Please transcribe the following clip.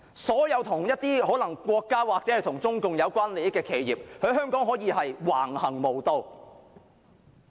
所有可能與國家或中共有關利益的企業可以在香港橫行無忌。